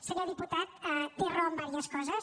senyor diputat té raó en diverses coses